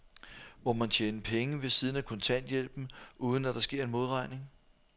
Må man tjene penge ved siden af kontanthjælpen, uden at der sker en modregning?